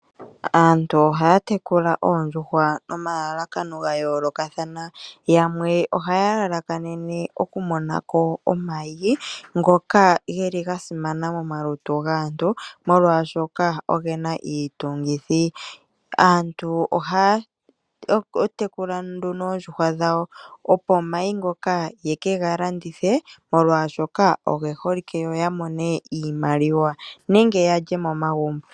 Aantu ohaya tekula oondjuhwa nomalalakano ga yoolokathana. Yamwe ohaya lalakanene okumona ko omayi ngoka ga simana momalutu gaantu, molwashoka oge na iitungithi. Aantu ohaya tekula nduno oondjuhwa dhawo, opo omayi ngoka ye ke ga landithe, molwashoka oge holike yo ya mone iimaliwa, nenge ya lye momagumbo.